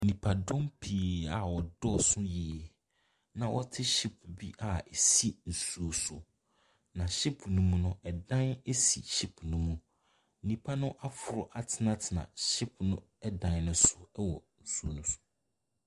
Nnipadɔm pii a wɔ dɔsso pii. Na wɔte ship bi a esi nsuo so. Na ship no mu no, ɛdan si ship no mu. Nnipa aforo atenatena ship no dan no so wɔ nsuo no so.